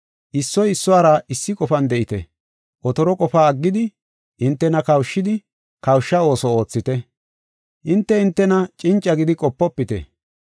Issoy issuwara issi qofan de7ite. Otoro qofaa aggidi, hintena kawushidi, kawusha ooso oothite. Hinte hintena cinca gidi qopofite.